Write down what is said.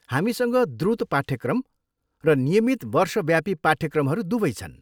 हामीसँग द्रुत पाठ्यक्रम र नियमित वर्षव्यापी पाठ्यक्रमहरू दुवै छन्।